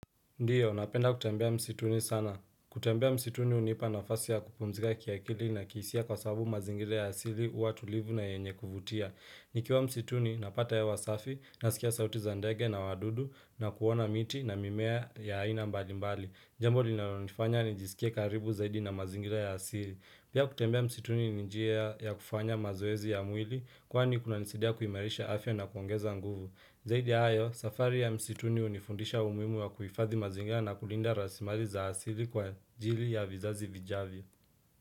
Ndiyo, napenda kutembea msituni sana. Kutembea msituni unipa nafasi ya kupumzika kiakili na kihisia kwa sabu mazingira ya asili uwa tulivu na yenye kuvutia. Nikiwa msituni, napata hewa safi, nasikia sauti za ndege na wadudu na kuona miti na mimea ya haina mbali mbali. Jambo linalonifanya ni jisikie karibu zaidi na mazingira ya asili. Pia kutembea msituni ninjia ya kufanya mazoezi ya mwili kwani kunanisidia kuimarisha afya na kuongeza nguvu. Zaidi ayo, safari ya msituni unifundisha umimu wa kuifadhi mazingira na kulinda rasimali za asili kwa jili ya vizazi vijavyo.